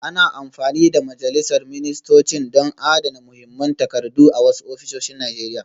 Ana amfani da majalisar ministocin don adana muhimman takardu a wasu ofisoshin Najeriya